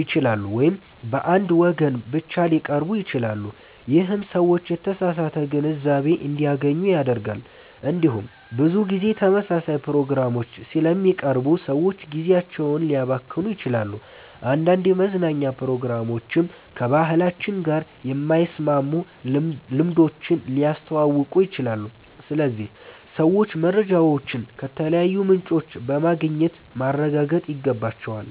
ይችላሉ ወይም በአንድ ወገን ብቻ ሊቀርቡ ይችላሉ። ይህም ሰዎች የተሳሳተ ግንዛቤ እንዲያገኙ ያደርጋል። እንዲሁም ብዙ ጊዜ ተመሳሳይ ፕሮግራሞች ስለሚቀርቡ ሰዎች ጊዜያቸውን ሊያባክኑ ይችላሉ። አንዳንድ የመዝናኛ ፕሮግራሞችም ከባህላችን ጋር የማይስማሙ ልምዶችን ሊያስተዋውቁ ይችላሉ። ስለዚህ ሰዎች መረጃዎችን ከተለያዩ ምንጮች በማግኘት ማረጋገጥ ይገባቸዋል።